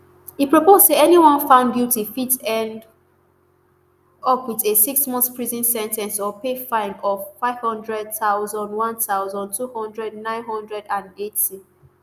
e propose say anyone found guilty fit end up wit a sixmonth prison sen ten ce or pay fine of nfive hundred thousand one thousand, two hundred nine hundred and eighty